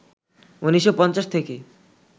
১৯৫০ থেকে